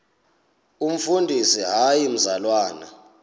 umfundisi hayi mzalwana